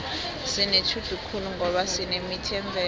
sinetjhudu khulu ngoba sinemithi yemvelo